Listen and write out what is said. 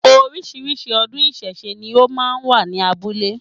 Orísìírísìí ọdún ìsẹ̀se ni ó máa wà ní abúlé